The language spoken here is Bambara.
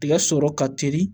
Tigɛ sɔrɔ ka teli